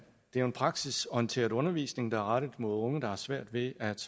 en praksisorienteret undervisning der er rettet mod unge der har svært ved at